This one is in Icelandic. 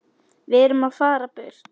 Við erum að fara burt.